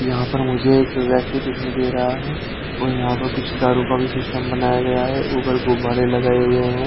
यहाँ पर मुझे एक व्यक्ति दिखाई दे रहा है और यहाँ पर कुछ दारू का भी सिस्टम बनाया गया है ऊपर गुब्बारे लगाए हुए हैं।